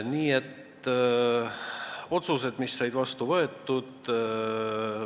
Niisiis, otsused, mis said vastu võetud.